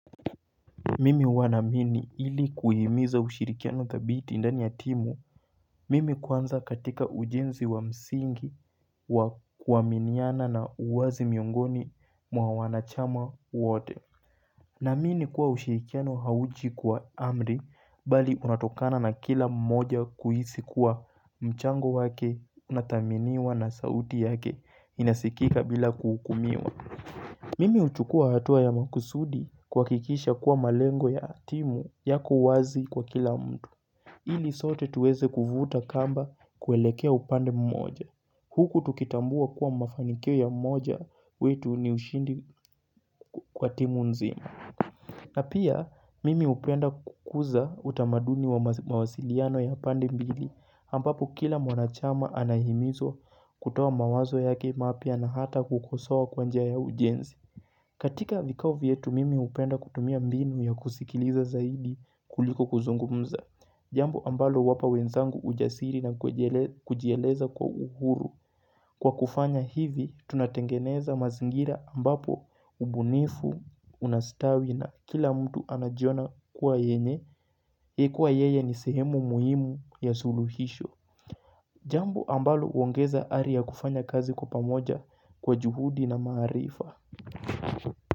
Mimi huwa naamini ili kuhimiza ushirikiano thabiti ndani ya timu, mimi kwanza katika ujenzi wa msingi wa kuaminiana na uwazi miongoni mwa wanachama wote. Naamini kuwa ushirikiano hauchi kwa amri, bali unatokana na kila mmoja kuhisi kuwa mchango wake unathaminiwa na sauti yake inasikika bila kuhukumiwa. Mimi uchukua hatua ya makusudi kuakikisha kuwa malengo ya timu yako wazi kwa kila mtu. Ili sote tuweze kuvuta kamba kuelekea upande mmoja. Huku tukitambua kuwa mafanikio ya mmoja wetu ni ushindi kwa timu nzima. Na pia, mimi upenda kukuza utamaduni wa mawasiliano ya pande mbili, ambapo kila mwanachama anahimizwa kutoa mawazo yake mapya na hata kukosoa kwa njia ya ujenzi. Katika vikao vyetu mimi hupenda kutumia mbinu ya kusikiliza zaidi kuliko kuzungumza. Jambo ambalo huwapa wenzangu ujasiri na kujieleza kwa uhuru. Kwa kufanya hivi, tunatengeneza mazingira ambapo ubunifu, unastawi na kila mtu anajiona kuwa yenye. Kuwa yeye ni sehemu muhimu ya suluhisho. Jambo ambalo uongeza ari ya kufanya kazi kwa pamoja kwa juhudi na maarifa.